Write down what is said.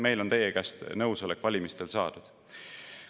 Meil on teie käest nõusolek valimistel saadud.